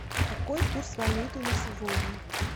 какой курс валюты на сегодня